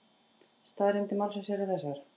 Staðreyndir málsins eru þessar